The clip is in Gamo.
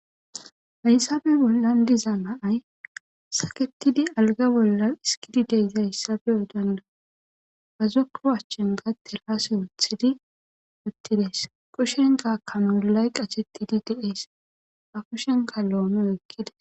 Haysabe bollan diza naay saketidi alga bolla iskidi deyza hayssa be'o danda'osi ba zokko achchin teraase wuthidi uttides kushenka kanuulay qachettidi deees ba kushenka loomo ekkida.